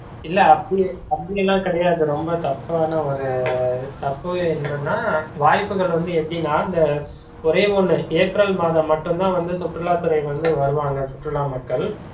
இல்ல அப்டி அப்டியலாம் கிடையாது, ரொம்ப தப்பான ஒரு தப்பு என்னன்னா, வாய்புகள் வந்து எப்படினா இந்த ஒரே ஒன்னு ஏப்ரல் மாதம் மட்டும் தான் வந்து சுற்றுலாத்துறை வந்து வருவாங்க சுற்றுலா மக்கள்